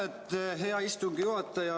Aitäh, hea istungi juhataja!